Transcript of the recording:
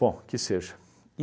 Bom, que seja.